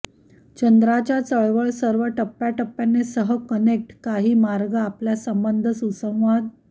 चंद्राच्या चळवळ सर्व टप्प्याटप्प्याने सह कनेक्ट काही मार्ग आपल्या संबंध सुसंवाद